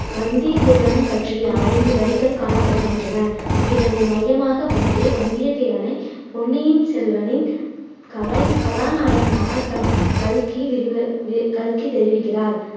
வந்தியத்தேவனைப் பற்றிய ஐந்து வரிகள் காணப்படுகின்றன. இதனை மையமாக வைத்தே வந்தியத்தேவனை பொன்னியின் செல்வனின் கதை~ கதாநாயகனாக க~ கல்கி விரிவு~ கல்கி தெரிவிக்கிறார்